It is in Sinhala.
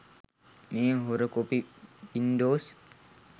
මේ හොර කොපි වින්ඩොස්